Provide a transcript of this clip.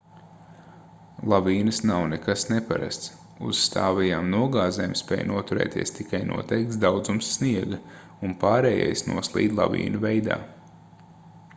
lavīnas nav nekas neparasts uz stāvajām nogāzēm spēj noturēties tikai noteikts daudzums sniega un pārējais noslīd lavīnu veidā